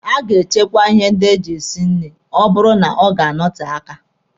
A ga-echekwa ihe ndị eji esi nri ma ọ bụrụ na ọ ga-anọte aka.